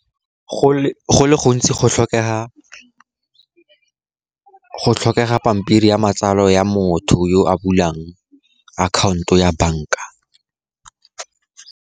Go le gontsi, go tlhokega pampiri ya matsalo ya motho yo a bulang akhaonto ya banka.